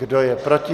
Kdo je proti?